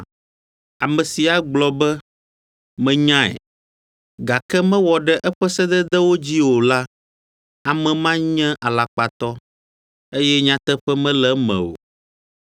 Ame si agblɔ be “Menyae,” gake mewɔ ɖe aƒe sededewo dzi o la, ame ma nye alakpatɔ, eye nyateƒe mele eme o.